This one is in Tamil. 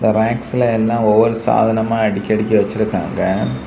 ராக்ஸ்ல எல்லா ஒவ்வொரு சாதனமா அடுக்கி அடுக்கி வச்சிருக்காங்க.